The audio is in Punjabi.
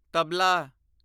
ਤਬਲਾ